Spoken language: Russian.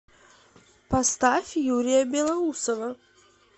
поставь юрия белоусова